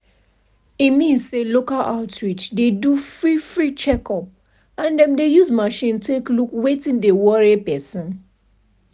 pause - community outreach dey help people wey no fit go hospital like that make we no lie.